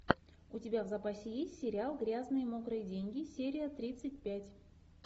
у тебя в запасе есть сериал грязные мокрые деньги серия тридцать пять